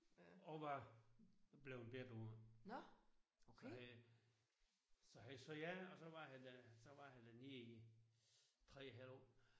Og var bleven bidt af det så han så han sagde ja så var han der så var han dernede i 3 et halv år